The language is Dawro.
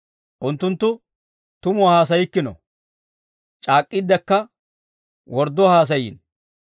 Unttunttu tumuwaa haasayikkino, C'aak'k'iiddekka wordduwaa haasayiino.